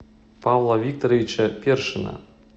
павла викторовича першина